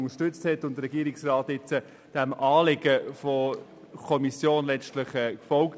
Der Regierungsrat ist nun dem Anliegen der Kommission gefolgt.